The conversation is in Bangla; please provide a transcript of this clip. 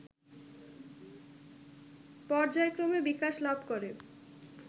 পর্যায়ক্রমে বিকাশ লাভ করে